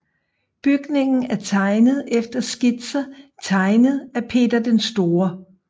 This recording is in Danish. Bygningen er tegnet efter skitser tegnet af Peter den Store